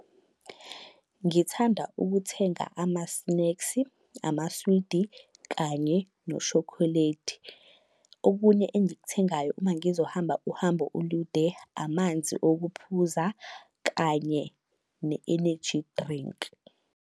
Ngithanda ukuthenga amasneksi, amaswidi kanye noshokholedi. Okunye engikuthengayo uma ngizohamba uhambo olude, amanzi okuphuza kanye ne-eneji drinki.